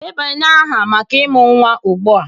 Debanye aha maka ịmụ nwa ugbu a!